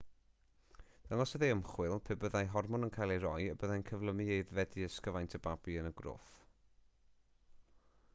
dangosodd ei ymchwil pe byddai hormon yn cael ei roi y byddai'n cyflymu aeddfedu ysgyfaint y babi yn y groth